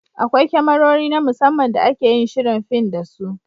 Akwai kyamarori (Cameras) na musamman da ake yin shirin fin da su.